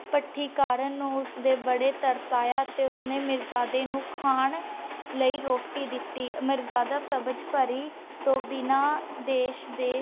ਹੰਸ ਹਰ ਰੋਜ਼ ਸਵੇਰੇ ਮਿਰਜਾਦਾ ਨੂ ਲੱਭਣ ਲੈ ਉਡਦਾ ਤੇ ਦੂਰ ਦੂਰ ਤਕ ਜਾਂਦਾ। ਓਸ ਨੂ ਨਿਰਾਸ ਹੀ